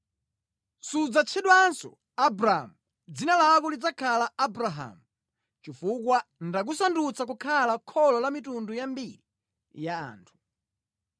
Sudzatchedwanso Abramu; dzina lako lidzakhala Abrahamu, chifukwa ndakusandutsa kukhala kholo la mitundu yambiri ya anthu.